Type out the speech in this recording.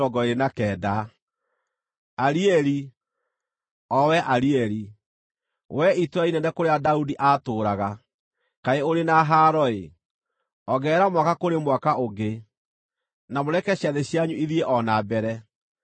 Arieli, o wee Arieli, wee itũũra inene kũrĩa Daudi aatũũraga, kaĩ ũrĩ na haaro-ĩ! Ongerera mwaka kũrĩ mwaka ũngĩ, na mũreke ciathĩ cianyu ithiĩ o na mbere.